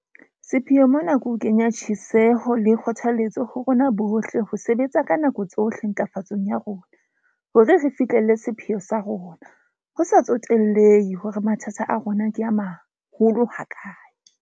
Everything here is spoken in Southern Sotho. Sepheo mona ke ho kenya tsjheseho le kgothaletso ho rona bohle ho sebetsa ka nako tsohle ntlafatsong ya rona hore re fiihlelle sepheo sa rona, ho sa tsotellehe hore mathata a rona ke a maholo hakae.